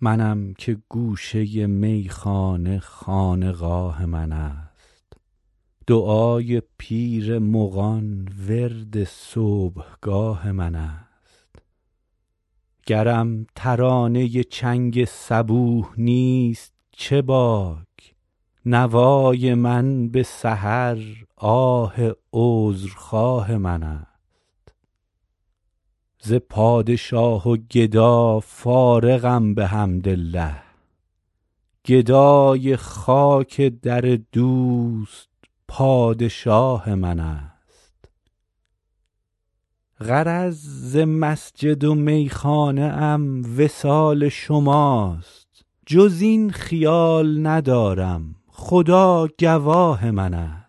منم که گوشه میخانه خانقاه من است دعای پیر مغان ورد صبحگاه من است گرم ترانه چنگ صبوح نیست چه باک نوای من به سحر آه عذرخواه من است ز پادشاه و گدا فارغم بحمدالله گدای خاک در دوست پادشاه من است غرض ز مسجد و میخانه ام وصال شماست جز این خیال ندارم خدا گواه من است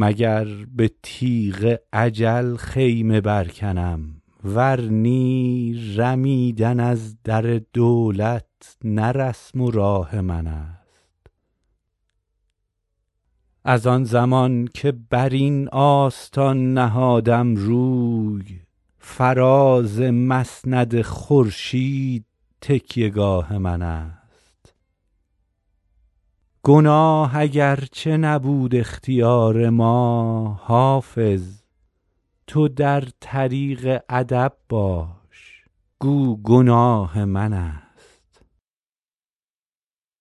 مگر به تیغ اجل خیمه برکنم ور نی رمیدن از در دولت نه رسم و راه من است از آن زمان که بر این آستان نهادم روی فراز مسند خورشید تکیه گاه من است گناه اگرچه نبود اختیار ما حافظ تو در طریق ادب باش گو گناه من است